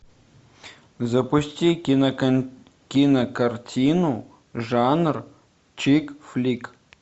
запусти кинокартину жанр чикфлик